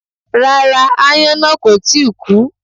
Rárá, aáyán náà kò tí ì kú